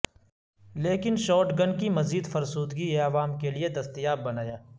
لیکن شاٹگن کی مزید فرسودگی یہ عوام کے لئے دستیاب بنایا